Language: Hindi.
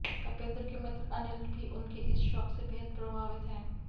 तपेन्द्र के मित्र अनिल भी उनके इस शौक से बेहद प्रभावित हैं